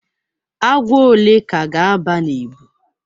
Agwọ ole ka ga-aba na ebu?